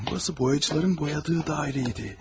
Burasi boyaçıların boyadığı dairə idi.